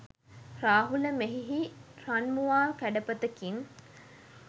රාහුල, මෙහිහි රන්මුවා කැඩපතකින්